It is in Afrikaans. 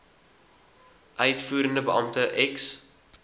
uitvoerende beampte ex